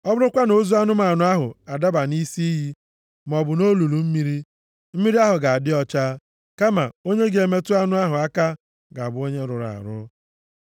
Ọ bụrụkwa na ozu anụmanụ ahụ adaba nʼisi iyi, maọbụ nʼolulu mmiri, mmiri ahụ ga-adị ọcha, kama onye ga-emetụ anụ ahụ aka ga-abụ onye rụrụ arụ.